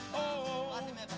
á öndinni hérna